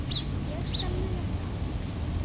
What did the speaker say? Ég skal muna það